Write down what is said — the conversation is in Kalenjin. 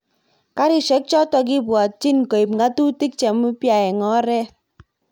Garishek chotok kipwotchin koip ng'atutik cheumpya eng oret